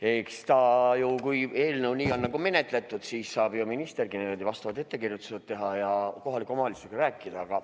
Eks nüüd, kui eelnõu nii on menetletud, saab ministergi vastavad ettekirjutused teha ja kohaliku omavalitsusega rääkida.